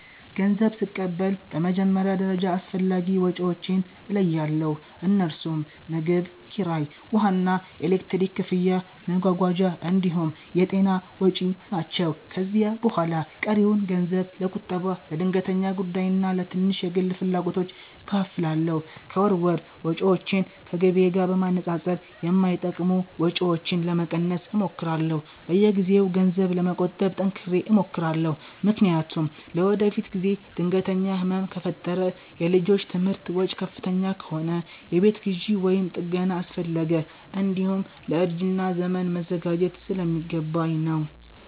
ገንዘብ ስቀበል በመጀመሪያ ደረጃ አስፈላጊ ወጪዎቼን እለያለሁ፤ እነርሱም ምግብ፣ ኪራይ፣ ውሃና ኤሌክትሪክ ክፍያ፣ መጓጓዣ እንዲሁም የጤና ወጪ ናቸው። ከዚያ በኋላ ቀሪውን ገንዘብ ለቁጠባ፣ ለድንገተኛ ጉዳይና ለትንሽ የግል ፍላጎቶች እከፋፍላለሁ። ከወር ወር ወጪዎቼን ከገቢዬ ጋር በማነጻጸር የማይጠቅሙ ወጪዎችን ለመቀነስ እሞክራለሁ። በየጊዜው ገንዘብ ለመቆጠብ ጠንክሬ እሞክራለሁ፤ ምክንያቱም ለወደፊት ጊዜ ድንገተኛ ህመም ከፈጠረ፣ የልጆች ትምህርት ወጪ ከፍተኛ ከሆነ፣ የቤት ግዢ ወይም ጥገና አስፈለገ፣ እንዲሁም ለእርጅና ዘመን መዘጋጀት ስለሚገባኝ ነው።